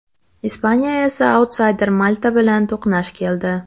Ispaniya esa autsayder Malta bilan to‘qnash keldi.